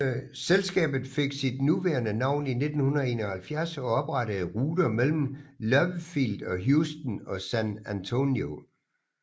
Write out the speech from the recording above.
Selskabet fik sit nuværende navn i 1971 og oprettede ruter mellem Love Field og Houston og San Antonio